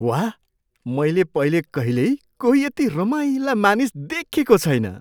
वाह! मैले पहिले कहिल्यै कोही यति रमाइला मानिस देखेको छैन!